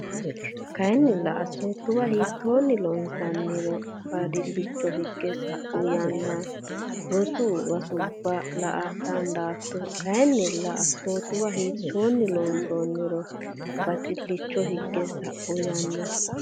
Kayinnilla assootuwa hiittoonni loonsanniro badhillicho higge sa u yanna rosi bisubba la a dandaatto Kayinnilla assootuwa hiittoonni loonsanniro badhillicho higge sa u yanna.